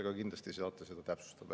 Aga kindlasti saate seda täpsustada.